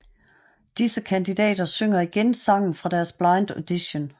Disse kandidater synger igen sangen fra deres Blind Audition